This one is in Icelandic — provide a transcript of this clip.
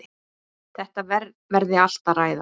Þetta verði allt að ræða.